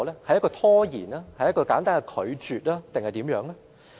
是拖延、是簡單的拒絕還是其他？